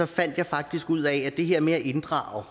fandt jeg faktisk ud af at det her med at inddrage